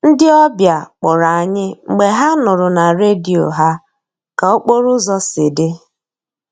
Ndị ọbịa kpọrọ anyị mgbe ha nụrụ na redio ha ka okporo ụzọ si dị